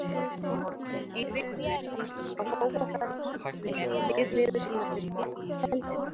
Í vikunni hófst á Fótbolta.net nýr liður sem nefnist Bakvið tjöldin.